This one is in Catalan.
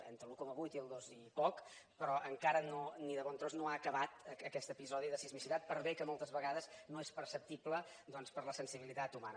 entre l’un coma vuit i el dos i poc però encara ni de bon tros no ha acabat aquest episodi de sismicitat per bé que moltes vegades no és perceptible doncs per a la sensibilitat humana